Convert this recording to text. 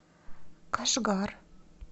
кашгар